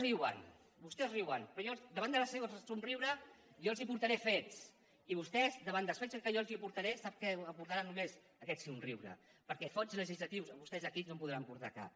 riuen però davant del seu somriure jo els portaré fets i vostès davant dels fets que jo els portaré sap què aportaran només aquest somriure perquè fets legislatius vostès aquí no en podran portar cap